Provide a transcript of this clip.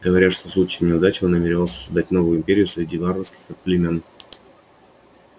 говорят что в случае неудачи он намеревается создать новую империю среди варварских племён